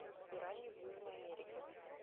пираньи в южной америке